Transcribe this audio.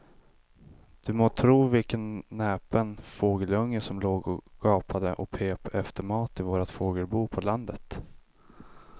Du må tro vilken näpen fågelunge som låg och gapade och pep efter mat i vårt fågelbo på landet.